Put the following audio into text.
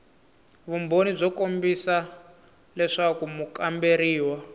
vumbhoni byo kombisa leswaku mukamberiwa